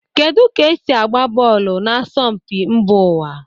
Kedu ka esi agba bọọlụ na asọmpi mba ụwa?